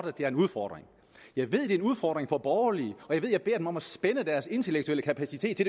at det er en udfordring for borgerlige og jeg beder dem om at spænde deres intellektuelle kapacitet